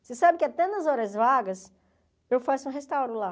Você sabe que até nas horas vagas eu faço restauro lá.